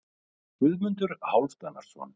Guðmundur Hálfdanarson.